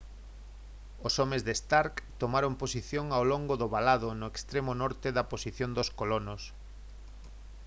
os homes de stark tomaron posición ao longo do valado no extremo norte da posición dos colonos